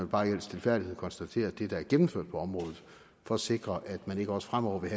bare i al stilfærdighed konstatere at det der er gennemført på området for at sikre at man ikke også fremover vil